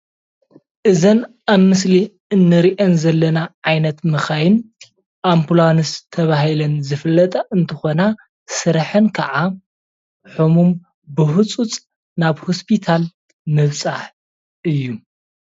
እዘን ኣብ ምስሊ እንሪአን ዘለና ዓይነት መካይን ኣምፕላንስ ተባሂለን ዝፍለጣ እንትኮና ስረሐን ክዓ ሕሙም ብሕፁፅ ናብ ሆስፒታል ምብፃሕ እዩ፡፡